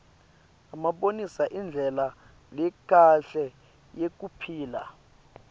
abonisa indlela lekahle yekuphila